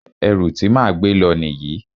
Ẹrù ti máa gbé lọ nìyí.